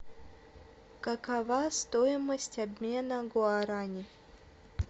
какова стоимость обмена гуараней